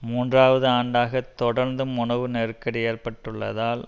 மூன்றாவது ஆண்டாக தொடர்ந்தும் உணவு நெருக்கடி ஏற்பட்டுள்ளதால்